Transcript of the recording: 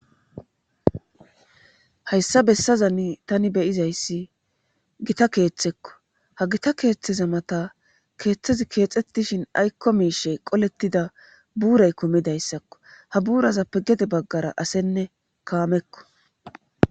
hayssa bessazani tani beyizayssi gita keeththekko ha gita keeththeza mata keeththezi keexxetishin aykko miishe qolettida buuray kumidayssakko ha buurazappe gede baggara asenne kaamekko